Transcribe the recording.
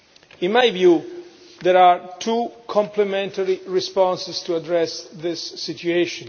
In my view, there are two complementary responses to address this situation.